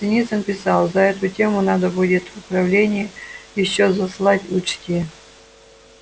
синицын писал за эту тему надо будет в управление ещё заслать учти